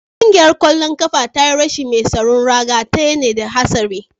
Kungiyar kwallon kafa ta yi rashin mai tsaron ragar ta ne da hatsari